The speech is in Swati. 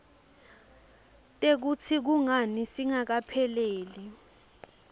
tekutsi kungani singakapheleli